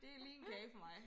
Det lige en kage for mig